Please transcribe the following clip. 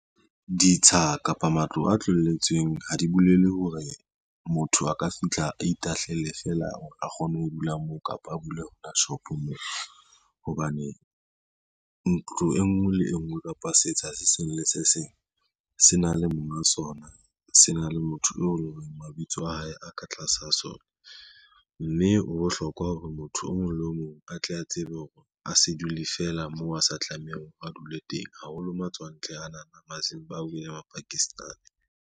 Ditsha kapa matlo a tlohelletsweng ha di bolele hore motho a ka fitlha a itahlelle fela hore a kgone ho dula moo kapa a bule shopo moo hobane, ntlo e ngwe le e ngwe kapa setsha se seng le se seng se na le monga sona, se na le motho eo e leng hore mabitso a hae a ka tlasa ho sona, mme ho bohlokwa hore motho o mong le o mong a tle a tsebe hore a se dule feela moo a sa tlamehang a dule teng haholo matswantle ana, Mazimbabwe le Mapakistani.